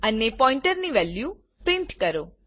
અને પોઈન્ટરની value print કરો